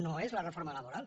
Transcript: no és la reforma laboral